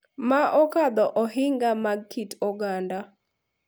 Ma okadho ohinga mag kit oganda,